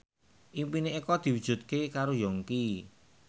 impine Eko diwujudke karo Yongki